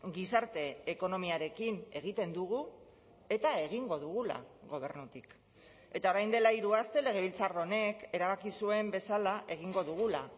gizarte ekonomiarekin egiten dugu eta egingo dugula gobernutik eta orain dela hiru aste legebiltzar honek erabaki zuen bezala egingo dugula